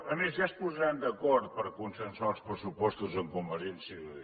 a més ja es posaran d’acord per consensuar els pressupostos amb convergència i unió